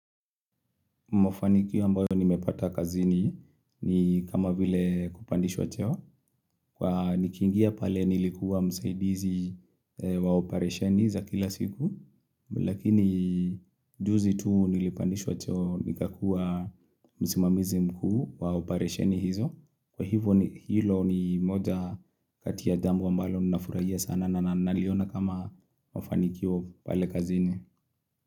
Mafanikio ambayo nimepata kazini ni kama vile kupandishwa cheo Kwa nikingia pale nilikuwa msaidizi wa oparesheni za kila siku. Lakini juzi tu nilipandishwa cheo nikakua msimamizi mkuu wa oparesheni hizo. Kwa hivyo hilo ni moja kati ya jambo ambalo ninafurahia sana na naliona kama mafanikio pale kazini.